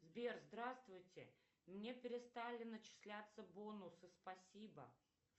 сбер здравствуйте мне перестали начисляться бонусы спасибо